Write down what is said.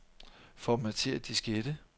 Formatér diskette.